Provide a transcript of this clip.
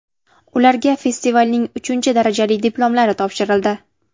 Ularga festivalning uchinchi darajali diplomlari topshirildi.